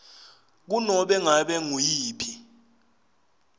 kunobe ngabe nguyiphi